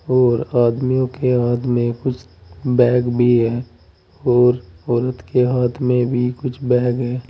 और आदमियों के हाथ में कुछ बैग भी है और औरत के हाथ में भी कुछ बैग है।